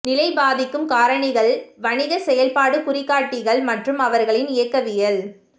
நிலை பாதிக்கும் காரணிகள் வணிக செயல்பாடு குறிகாட்டிகள் மற்றும் அவர்களின் இயக்கவியல்